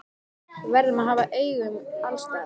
Við verðum að hafa augun alls staðar.